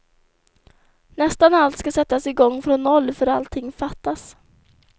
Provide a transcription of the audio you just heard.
Nästan allt ska sättas i gång från noll, för allting fattas.